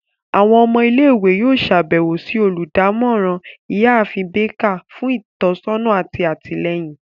Awọn ọmọ ile-iwe yoo ṣabẹwo si oludamoran, Iyaafin Baker, fun itọsọna ati atilẹyin.